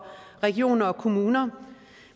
regioner og kommuner